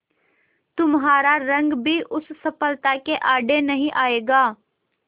तुम्हारा रंग भी उस सफलता के आड़े नहीं आएगा